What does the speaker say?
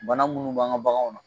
Ban minnu b'an ka baganw na